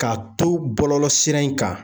K'a to bɔlɔlɔ sira in kan